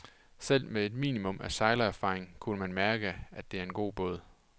Selv med et minimum af sejlerfaring kunne man mærke, at det er en god båd.